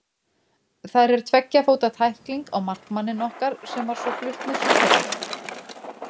Þar er tveggja fóta tækling á markmanninn okkar sem var svo flutt með sjúkrabíl.